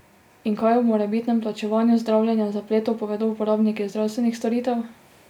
In kaj o morebitnem plačevanju zdravljenja zapletov povedo uporabniki zdravstvenih storitev?